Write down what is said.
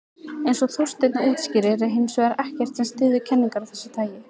Eins og Þorsteinn útskýrir er hins vegar ekkert sem styður kenningar af þessu tagi.